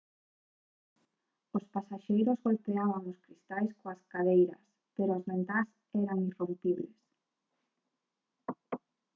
os pasaxeiros golpeaban os cristais coas cadeiras pero as ventás eran irrompibles